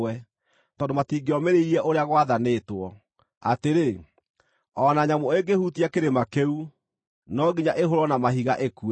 tondũ matingĩomĩrĩirie ũrĩa gwathanĩtwo, atĩrĩ; “O na nyamũ ĩngĩhutia kĩrĩma kĩu, no nginya ĩhũũrwo na mahiga ĩkue.”